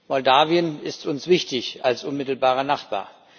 Moldawien ist uns wichtig als unmittelbarer Nachbar.